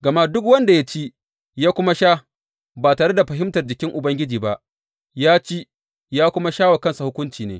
Gama duk wanda ya ci ya kuma sha ba tare da fahimtar jikin Ubangiji ba, ya ci ya kuma sha wa kansa hukunci ne.